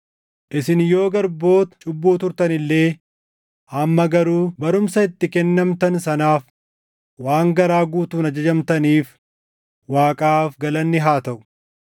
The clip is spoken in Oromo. Isin yoo garboota cubbuu turtan illee amma garuu barumsa itti kennamtan sanaaf waan garaa guutuun ajajamtaniif Waaqaaf galanni haa taʼu.